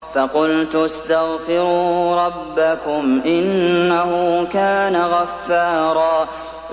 فَقُلْتُ اسْتَغْفِرُوا رَبَّكُمْ إِنَّهُ كَانَ غَفَّارًا